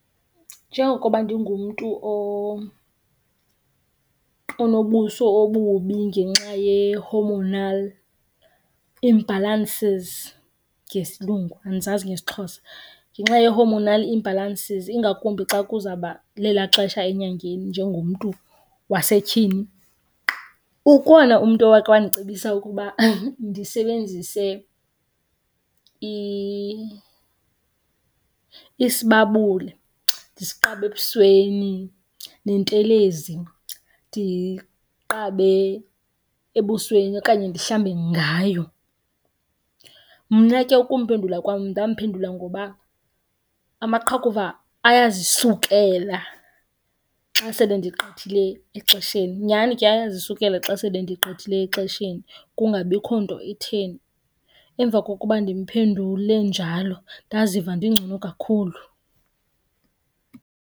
Njengokuba ndingumntu onobuso obubi ngenxa ye-hormonal imbalances ngesilungu, andizazi ngesiXhosa. Ngenxa ye-hormonal imbalances, ingakumbi xa kuzawuba lelaa xesha enyangeni njengomntu wasetyhini, ukhona umntu owake wandicebisa ukuba ndisebenzise isibabule ndisiqabe ebusweni, nentelezi ndiyiqabe ebusweni okanye ndihlambe ngayo. Mna ke ukumphendula kwam ndamphendula ngoba amaqhakuva ayazisukela xa sele ndigqithile exesheni. Nyhani ke ayazisukela xa sele ndigqithile exesheni kungabikho nto itheni. Emva kokuba ndimphendule njalo ndaziva ndingcono kakhulu.